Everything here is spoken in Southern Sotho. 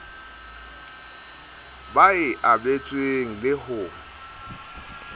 ba e abetsweng le ho